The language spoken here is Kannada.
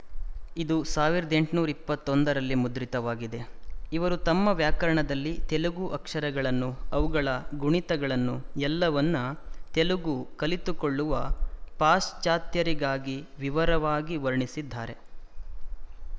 ಇದು ಸಾವಿರದ ಎಂಟುನೂರ ಇಪ್ಪತ್ತ್ ಒಂದರಲ್ಲಿ ಮುದ್ರಿತವಾಗಿದೆ ಇವರು ತಮ್ಮ ವ್ಯಾಕರಣದಲ್ಲಿ ತೆಲುಗು ಅಕ್ಷರಗಳನ್ನು ಅವುಗಳ ಗುಣಿತಗಳನ್ನು ಎಲ್ಲವನ್ನು ತೆಲುಗು ಕಲಿತುಕೊಳ್ಳುವ ಪಾಶ್ಚಾತ್ಯರಿಗಾಗಿ ವಿವರವಾಗಿ ವರ್ಣಿಸಿದ್ದಾರೆ